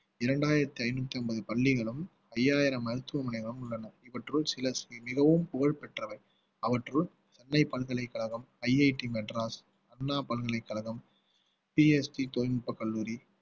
இரண்டாயிரத்தி ஐந்நூத்தி ஐம்பது பள்ளிகளும் ஐயாயிரம் மருத்துவமனைகளும் உள்ளன இவற்றுள் சில மிகவும் புகழ் பெற்றவை அவற்றுள் சென்னை பல்கலைக்கழகம் IITmadras அண்ணா பல்கலைக்கழகம் PSG தொழில்நுட்பக் கல்லூரி